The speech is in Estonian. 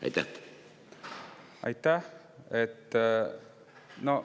Aitäh!